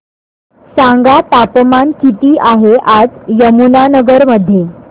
सांगा तापमान किती आहे आज यमुनानगर मध्ये